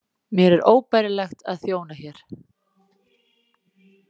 Mér er óbærilegt að þjóna hér.